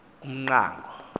umqango